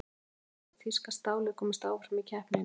Það er því spurning hvort þýska stálið komist áfram í keppninni?